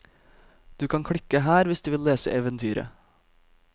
Du kan klikke her hvis du vil lese eventyret.